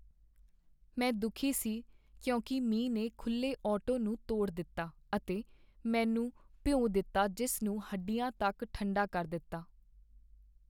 ਮੈਂ ਦੁੱਖੀ ਸੀ ਕਿਉਂਕਿ ਮੀਂਹ ਨੇ ਖੁੱਲ੍ਹੇ ਆਟੋ ਨੂੰ ਤੋੜ ਦਿੱਤਾ ਅਤੇ ਮੈਨੂੰ ਭਿਉਂ ਦਿੱਤਾ ਜਿਸ ਨੂੰ ਹੱਡੀਆਂ ਤੱਕ ਠੰਡਾ ਕਰ ਦਿੱਤਾ।